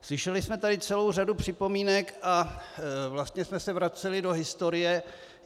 Slyšeli jsme tady celou řadu připomínek a vlastně jsme se vraceli do historie.